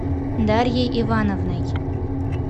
дарьей ивановной